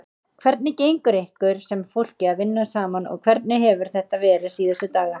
Hvernig gengur ykkur sem fólki að vinna saman og hvernig hefur þetta verið síðustu daga?